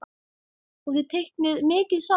Og þið teiknið mikið saman?